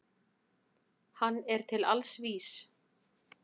Hann er til alls vís.